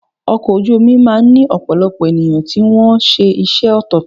Ọkọ̀ ojú omi máà ń ní ọ̀pọ̀lọpọ̀ ènìyàn tí wọ́n ṣe iṣẹ́ ọ̀tọ̀ọ̀tọ̀.